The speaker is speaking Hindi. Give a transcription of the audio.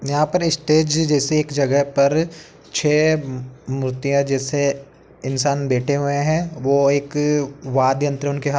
यहाँं पर स्टेज जैसी एक जगह पर छे मु मूर्तियाँ जैसे इंसान बैठे हुए हैं। वो एक वादयन्त्र उनके हाथ --